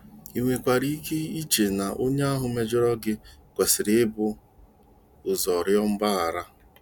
I nwekwara ike iche na onye ahụ mejọrọ gị kwesịrị ibu ụzọ rịọ mgbaghara.